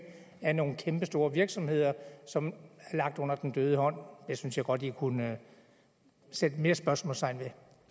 af nogle kæmpestore virksomheder som er lagt under den døde hånd det synes jeg godt i kunne sætte mere spørgsmålstegn